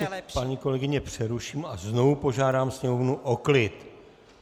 Já vás ještě, paní kolegyně, přeruším a znovu požádám sněmovnu o klid.